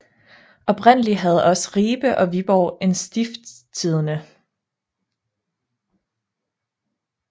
Oprindeligt havde også Ribe og Viborg en Stiftstidende